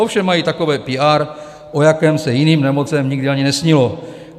Ovšem mají takové PR, o jakém se jiným nemocem nikdy ani nesnilo.